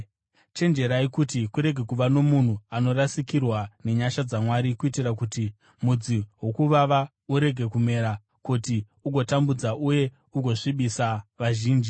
Chenjerai kuti kurege kuva nomunhu anorasikirwa nenyasha dzaMwari kuitira kuti mudzi wokuvava urege kumera kuti ugotambudza uye ugosvibisa vazhinji.